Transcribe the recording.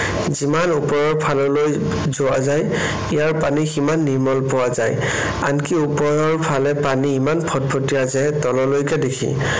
যিমান ওপৰৰ ফাললৈ যোৱা যায় ইয়াৰ পানী সিমান নিৰ্মল পোৱা যায়। আনকি ওপৰৰ ফালে পানী ইমান ফটফটীয়া যে তললৈকে দেখি।